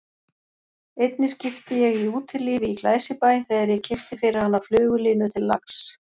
Einni skipti ég í Útilífi í Glæsibæ þegar ég keypti fyrir hana flugulínu til lax